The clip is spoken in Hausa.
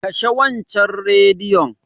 Kashe waccan Rediyon.